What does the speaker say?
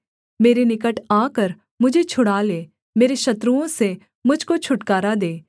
मेरे निकट आकर मुझे छुड़ा ले मेरे शत्रुओं से मुझ को छुटकारा दे